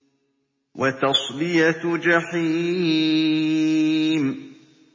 وَتَصْلِيَةُ جَحِيمٍ